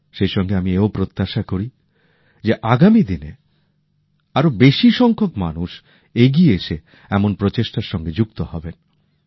সেই সঙ্গে আমি এও প্রত্যাশা করি যে আগামী দিনে আরো বেশি সংখ্যক মানুষ এগিয়ে এসে এমন প্রচেষ্টার সঙ্গে যুক্ত হবেন